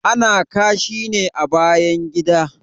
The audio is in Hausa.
Ana kashi ne a bayan gida